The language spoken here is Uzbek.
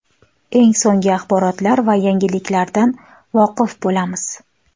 Eng so‘nggi axborotlar va yangiliklardan voqif bo‘lamiz.